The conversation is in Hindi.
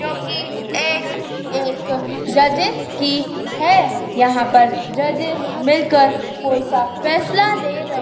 जो कि एक एक जजेस की है यहां पर जजेस मिल कर कोई सा फैसला ले रहे--